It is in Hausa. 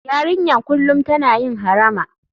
Yarinyar kullum tana yin harama.